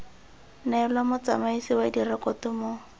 neelwa motsamaisi wa direkoto mo